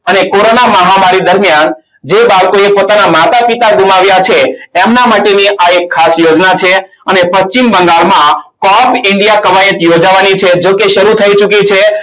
અને કોરોના મહામારી દરમિયાન જે બાળકોએ પોતાના માતા પિતા ગુમાવ્યા છે. એમના માટેની આ એક ખાસ યોજના છે અને પશ્ચિમ બંગાળમાં cop india કવાયત યોજાવાની છે જોકે શરૂ થઈ ચૂકી છે.